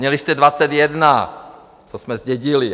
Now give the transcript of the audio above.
Měli jste 21, to jsme zdědili.